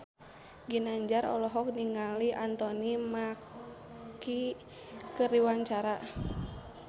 Ginanjar olohok ningali Anthony Mackie keur diwawancara